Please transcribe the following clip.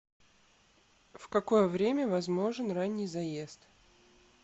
в какое время возможен ранний заезд